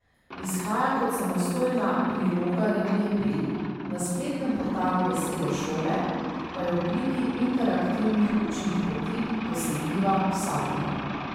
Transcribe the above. Izhaja kot samostojna priloga revije Pil, na spletnem portalu Vesele šole pa je v obliki interaktivnih učnih poti dosegljiva vsakomur.